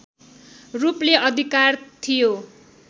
रूपले अधिकार थियो